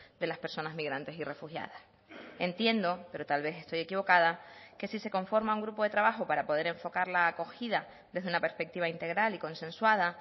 de las personas migrantes y refugiadas entiendo pero tal vez estoy equivocada que si se conforma un grupo de trabajo para poder enfocar la acogida desde una perspectiva integral y consensuada